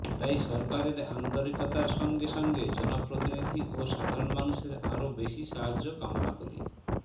তাই সরকারের আন্তরিকতার সঙ্গে সঙ্গে জনপ্রতিনিধি ও সাধারণ মানুষের আরও বেশি সাহায্য কামনা করি